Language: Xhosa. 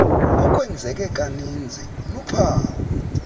okwenzeke kaninzi luphawu